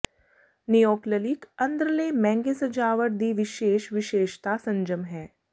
ਨਿਓਕਲਲਿਕ ਅੰਦਰਲੇ ਮਹਿੰਗੇ ਸਜਾਵਟ ਦੀ ਵਿਸ਼ੇਸ਼ ਵਿਸ਼ੇਸ਼ਤਾ ਸੰਜਮ ਹੈ